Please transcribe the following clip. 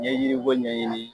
N ye yiri ko ɲɛɲini